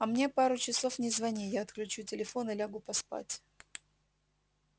а мне пару часов не звони я отключу телефон и лягу поспать